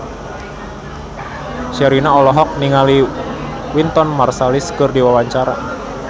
Sherina olohok ningali Wynton Marsalis keur diwawancara